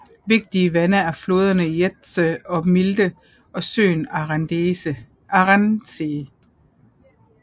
Vigtige vande er floderne Jeetze og Milde og søen Arendsee